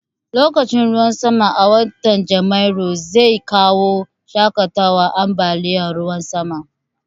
Lokacin ruwan sama a watan Janairu zai kawo shaƙatawan ambaliyan ruwan sama